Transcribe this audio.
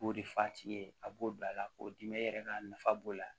K'o de f'a t'i ye a b'o bila a la k'o dimi e yɛrɛ ka nafa b'o la